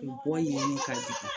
O bɛ bɔ yen de ka jigi.